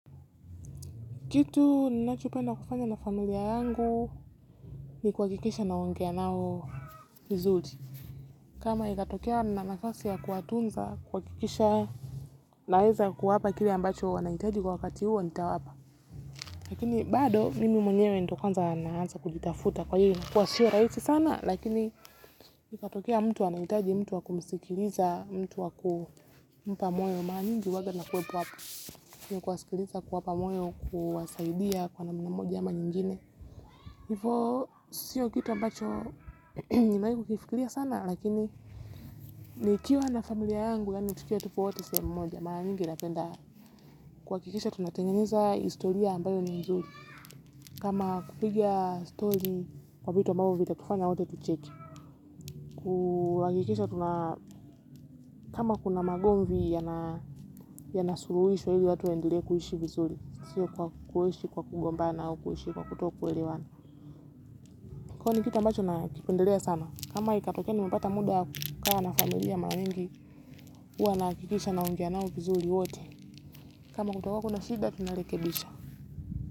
Kitu ninachopenda kufanya na familia yangu ni kuhakikisha naongea nao vizuri. Kama inatokea nina nafasi ya kuwatunza kuhakikisha naweza kuwapa kile ambacho wanahitaji kwa wakati huo nitawapa. Lakini bado mimi mwenyewe ndo kwanza naanza kujitafuta kwa hiyo kwa sio rahisi sana. Lakini ikatokea mtu anahitaji mtu wa kumskiliza mtu wa kumpa moyo mara nyingi huwanga kuwasikiliza kuwapa moyo kuwasaidia kwa namna moja ama nyingine. Hivo, sio kitu ambacho nimeaiku kifikilia sana, lakini nikiwa na familia yangu, yaani tukiwa tupo watu sehemu mmoja, mara nyingi napenda. Kuhakikisha tunatengeneza historia ambayo ni nzuri, kama kupiga story kwa vitu ambavyo vitatufanya wote tucheke. Kuhakikisha tuna kama kuna magomvi, yana ya nasuruhisho ili watu waendelee kuishi vizuri, sio kwa kuishi kwa kugomba au kuishi kwa kutokuelewana. Kwa nikitu ambacho na kipenderea sana, kama itatokea ni mepata muda ka wana familia mawengi huwa nahakikisha na ongea nao vizuri wote, kama kutowako na shida tuna lekebisha.